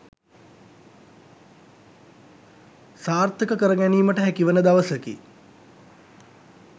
සාර්ථක කර ගැනීමට හැකිවන දවසකි